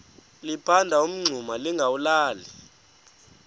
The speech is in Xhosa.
liphanda umngxuma lingawulali